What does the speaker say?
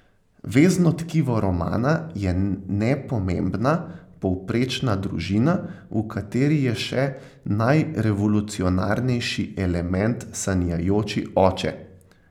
Vezno tkivo romana je nepomembna, povprečna družina, v kateri je še najrevolucionarnejši element sanjajoči oče.